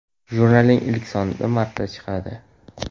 Jurnalning ilk soni martda chiqadi.